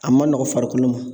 A ma nɔgɔn farikolo ma